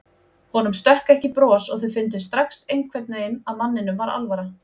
Honum stökk ekki bros og þau fundu strax einhvern veginn að manninum var alvara.